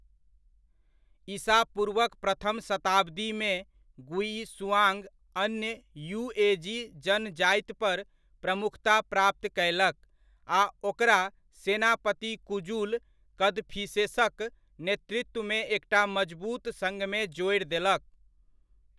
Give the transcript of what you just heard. ईसा पूर्वक प्रथम शताब्दीमे गुइशुआंग अन्य युएजी जनजातिपर प्रमुखता प्राप्त कयलक आ ओकरा सेनापति कुजुल कदफिसेसक नेतृत्वमे एकटा मजबूत सङ्घमे जोड़ि देलक।